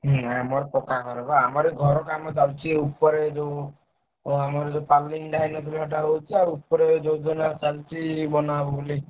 ହୁଁ ଆମର ପକ୍କା ଘର ବା। ଆମର ଏଇ ଘର କାମ ଚାଲଚି ଏଇ ଉପରେ ଯୋଉ ଅଁ ଆମର ଯୋଉ ଟା ହେଇନଥିଲା ସେଇଟା ହଉଛି ଆଉ ଉପରେ ଯୋଜନା ଚାଲଚି ବନା ହବ ବୋଲି।